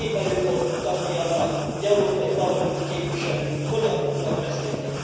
Épp előbb voltunk tanúi annak, hogy európai parlamenti képviselők hogyan tudnak beszélni.